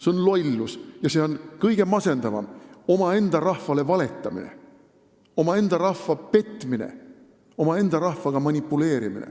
See on lollus ja see on kõige masendavam omaenda rahvale valetamine, omaenda rahva petmine, omaenda rahvaga manipuleerimine.